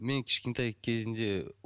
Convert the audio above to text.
мен кішкентай кезінде